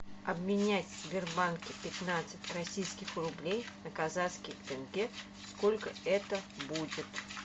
обменять в сбербанке пятнадцать российских рублей на казахский тенге сколько это будет